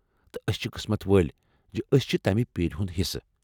تہٕ أسۍ چھِ قٕسمت وٲلۍ زِ أسۍ چھِ تمہِ پیرِ ہُنٛد حِصہٕ ۔